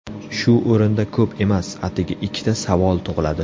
Shu o‘rinda ko‘p emas, atigi ikkita savol tug‘iladi.